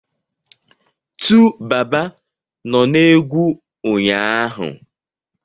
TuBaba nọ na egwu ụnyaahụ.